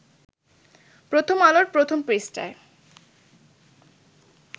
প্রথম আলোর প্রথম পৃষ্ঠায়